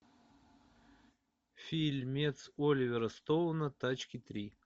фильмец оливера стоуна тачки три